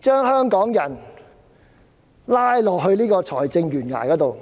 將香港人拉到財政懸崖上。